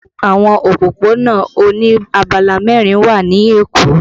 Àwọn òpópónà oní abala mẹrin wà ní Èkó